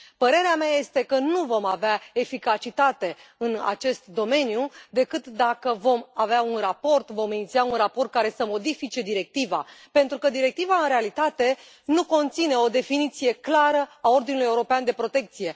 Părerea mea este că nu vom avea eficacitate în acest domeniu decât dacă vom avea un raport, vom iniția un raport care să modifice directiva, pentru că directiva, în realitate, nu conține o definiție clară a ordinului european de protecție.